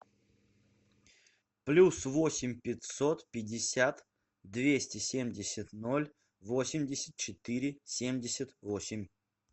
плюс восемь пятьсот пятьдесят двести семьдесят ноль восемьдесят четыре семьдесят восемь